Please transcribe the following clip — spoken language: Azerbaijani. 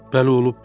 Bəli, olub.